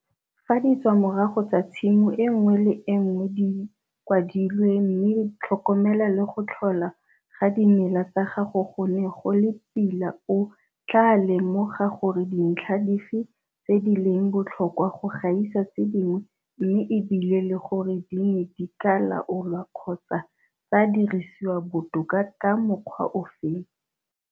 Fa ditswamorago tsa tshimo e nngwe le e nngwe di kwadilwe mme tlhokomelo le go tlhola ga dimela tsa gago go ne go le pila o tlaa lemoga gore ke dintlha dife tse di leng botlhokwa go gaisa tse dingwe mme e bile le gore di ne di ka laolwa kgotsa tsa dirisiwa botoka ka mokgwa ofe.